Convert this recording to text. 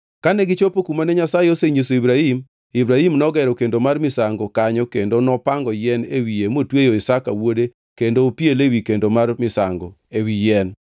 Kane gichopo kumane Nyasaye osenyiso Ibrahim, Ibrahim nogero kendo mar misango kanyo kendo nopango yien e wiye motweyo Isaka wuode kendo nopiele ewi kendo mar misango, ewi yien.